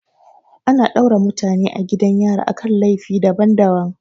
Ana daure mutane a gidan yari akan laifi daban daban